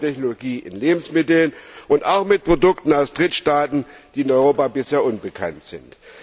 mit der Nanotechnologie in Lebensmitteln und auch mit Produkten aus Drittstaaten, die in Europa bisher unbekannt sind.